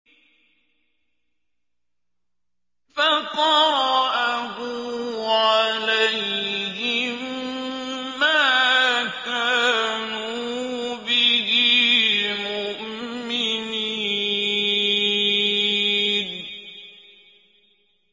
فَقَرَأَهُ عَلَيْهِم مَّا كَانُوا بِهِ مُؤْمِنِينَ